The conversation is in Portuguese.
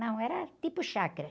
Não, era tipo chácara.